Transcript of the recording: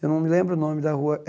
Eu não me lembro o nome da rua. Eh